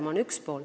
See on üks pool.